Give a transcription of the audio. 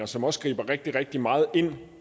som også griber rigtig rigtig meget ind